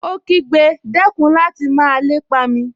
Ó kígbe, dẹ́kun láti máa lépa mi!